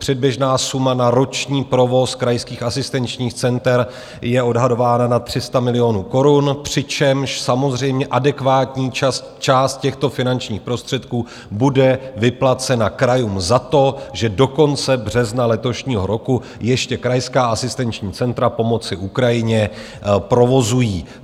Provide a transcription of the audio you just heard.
Předběžná suma na roční provoz krajských asistenčních center je odhadována na 300 milionů korun, přičemž samozřejmě adekvátní část těchto finančních prostředků bude vyplacena krajům za to, že do konce března letošního roku ještě krajská asistenční centra pomoci Ukrajině provozují.